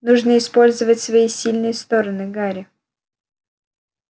нужно использовать свои сильные стороны гарри